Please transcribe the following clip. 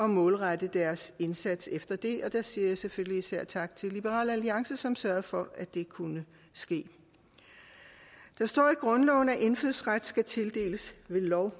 målrette deres indsats efter det der siger jeg selvfølgelig især tak til liberal alliance som sørgede for at det kunne ske der står i grundloven at indfødsret skal tildeles ved lov